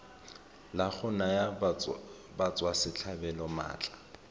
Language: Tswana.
la go naya batswasetlhabelo maatla